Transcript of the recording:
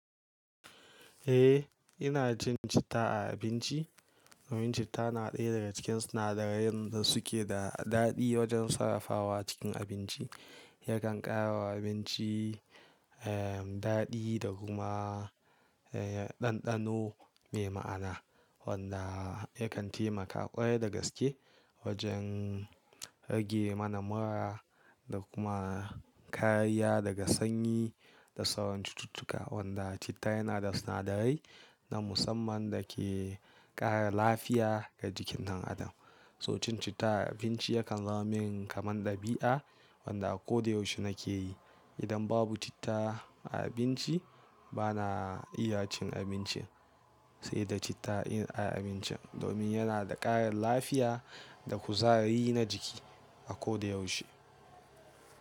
Eh, ina cin citta a abinci. Domin citta na ɗaya daga cikin sinadarai da suke da daɗi wajen sarrafawa cikin abinci. Yakan ƙara wa abinci, ehm, daɗi da kuma, eh, ɗanɗano mai ma'ana wanda yakan temaka ƙwarai da gaske wajen. Rage mana mura da kuma kariyya daga sanyi da sauran cututtuka. Wanda citta yana da sinadarai na musamman da ke ƙara lafiya ga jikin ɗan adam. So cin citta a abinci yakan zama min kamar ɗabi'a wanda a koda yaushe nake yi. Idan babu citta a abinci, ba na iya cin abincin. Sai da citta in ai abincin domin yana da ƙarin lafiya. Da kuzari na jiki a koda yaushe.